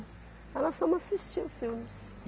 Então, nós fomos assistir o filme.